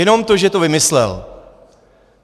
Jenom to, že to vymyslel.